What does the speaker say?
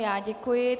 Já děkuji.